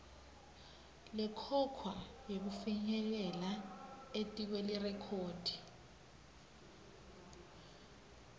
lekhokhwako yekufinyelela etikwelirekhodi